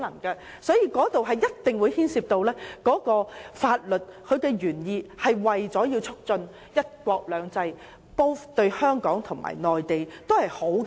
因此，當中一定牽涉法律原意，即為了促進"一國兩制"，對香港和內地均是好事。